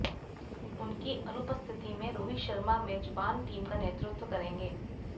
उनकी अनुपस्थिति में रोहित शर्मा मेजबान टीम का नेतृत्व करेंगे